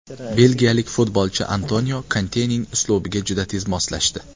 Belgiyalik futbolchi Antonio Kontening uslubiga juda tez moslashdi.